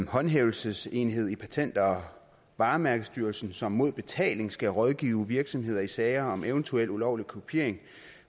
håndhævelsesenhed i patent og varemærkestyrelsen som mod betaling skal rådgive virksomheder i sager om eventuel ulovlig kopiering